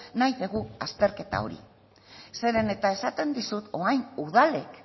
nahi dugu azterketa hori zeren eta esaten dizut orain udalak